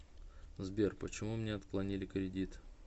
сбер почему мне отклонили кредит